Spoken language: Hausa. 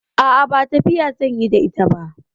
A'a, ba tafiya zan yi da ita ba.